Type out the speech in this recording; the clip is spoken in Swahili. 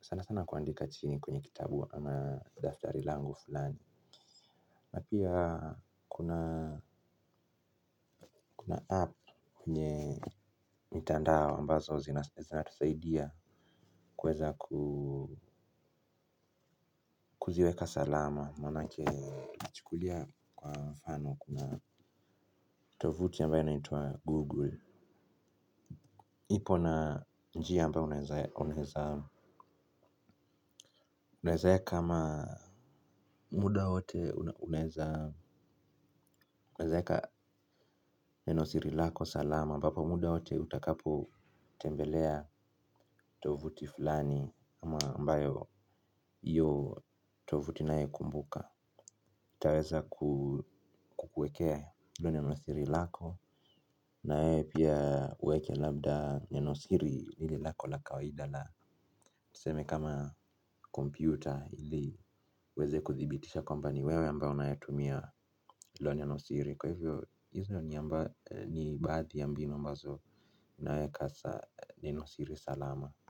sana sana kuandika chini kwenye kitabu ama daftari langu fulani. Na pia kuna 'app' kwenye mitandao ambazo zinatusaidia kuweza ku kuziweka salama, manake tukichukulia kwa mfano kuna tovuti ambayo inaitwa 'Google.' Ipo na njia ambayo unaweza unaeza weka ama muda wote unaeza weka neno siri lako salama ambapo muda wote utakapotembelea tovuti fulani ambayo hiyo tovuti inayekumbuka itaweza kukuekea hilo neno siri lako, na wewe pia uweke labda neno siri lile lako la kawaida la tuseme kama kompyuta ili iweze kuthibitisha kwamba ni wewe ambayo unayetumia hilo nenosiri. Kwa hivyo hizo ni baadhi ya mbinu ambazo inaweka nenosiri salama.